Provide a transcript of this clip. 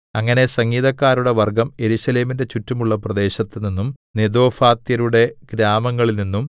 അങ്ങനെ സംഗീതക്കാരുടെ വർഗ്ഗം യെരൂശലേമിന്റെ ചുറ്റുമുള്ള പ്രദേശത്ത് നിന്നും നെതോഫാത്യരുടെ ഗ്രാമങ്ങളിൽനിന്നും